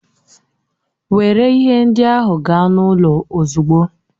Were ihe ndị ahụ gaa n'ụlọ ozugbo!